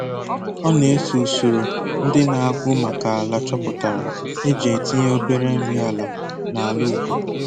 Ọ na-eso usoro ndị na-agụ maka ala choputara e ji etinye obere nri ala na ala ubi